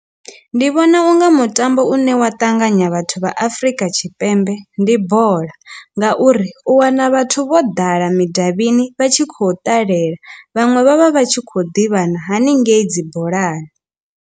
Ndi vhona unga mutambo u ne wa ṱanganya vhathu vha Afrika Tshipembe ndi bola ngauri u wana vhathu vho ḓala midavhini vha tshi khou ṱalela vhaṅwe vhavha vha tshi khou ḓivhana haningei dzi bolani.